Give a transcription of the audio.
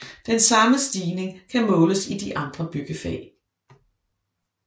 Den samme stigning kan måles i de andre byggefag